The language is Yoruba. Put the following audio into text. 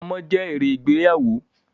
Ọmọ je èrè ìgbéyàwó